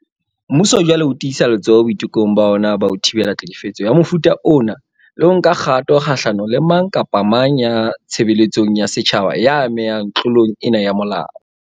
Mmuso jwale o tiisa letsoho boitekong ba ona ba ho thibela tlhekefetso ya mofuta ona le ho nka kgato kgahlano le mang kapa mang ya tshebeletsong ya setjhaba ya amehang tlo long ena ya molao.